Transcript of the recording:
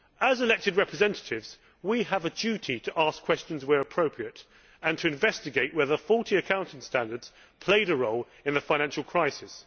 As elected representatives we have a duty to ask questions where appropriate and to investigate whether faulty accounting standards played a role in the financial crisis.